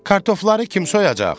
Kartofları kim soyacaq?